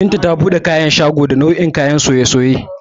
Binta ta buɗe sabon shago, inda take siyar da nau'o'in kayan soye-soye